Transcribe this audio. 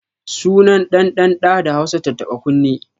Sunan ɗan ɗan ɗa da Hausa tattaɓa kunne